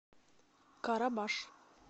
карабаш